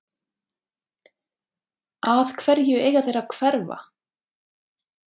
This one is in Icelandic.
Að hverju eiga þeir að hverfa?